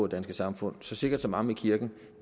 danske samfund så sikkert som amen i kirken